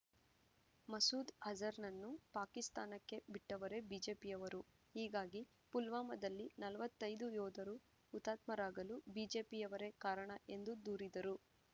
ಮಸೂದ್ ಅಜಾರ್ ನನ್ನು ಪಾಕಿಸ್ತಾನಕ್ಕೆ ಬಿಟ್ಟವರೇ ಬಿಜೆಪಿಯವರು ಹೀಗಾಗಿ ಪುಲ್ವಾಮದಲ್ಲಿ ನಲವತ್ತೈದು ಯೋಧರು ಹುತಾತ್ಮ ರಾಗಲು ಬಿಜೆಪಿಯವರೇ ಕಾರಣ ಎಂದು ದೂರಿದರು